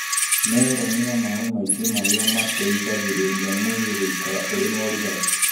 Meroni na maĩ maingĩ marĩa mateithagĩrĩria mwĩrĩ gũikara ũrĩ na ũrugarĩ.